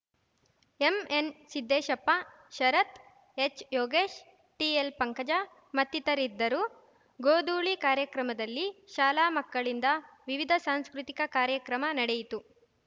ಎಂಎನ್‌ಸಿದ್ದೇಶಪ್ಪ ಶರತ್‌ ಹೆಚ್‌ಯೋಗೇಶ್‌ ಟಿಎಲ್‌ಪಂಕಜ ಮತ್ತಿತರಿದ್ದರು ಗೋಧೂಳಿ ಕಾರ್ಯಕ್ರಮದಲ್ಲಿ ಶಾಲಾ ಮಕ್ಕಳಿಂದ ವಿವಿಧ ಸಾಂಸ್ಕೃತಿಕ ಕಾರ್ಯಕ್ರಮ ನಡೆಯಿತು